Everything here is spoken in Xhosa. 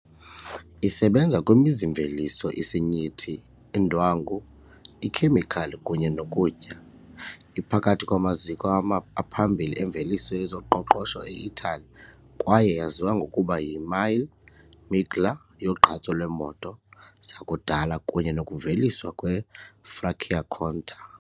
Isebenza kwimizi-mveliso, isinyithi, indwangu, ikhemikhali kunye nokutya, iphakathi kwamaziko aphambili emveliso yezoqoqosho e-Itali kwaye yaziwa ngokuba yiMille Miglia yogqatso lweemoto zakudala kunye nokuveliswa kweFranciacorta .